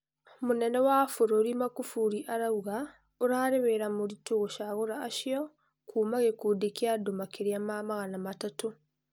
Mũnene wa bũrũri Makufuri arauga ũrarĩ wĩra mũritũ gũcagũra acio kuuma gikundi kĩa andũ makĩria ma magana matatũ.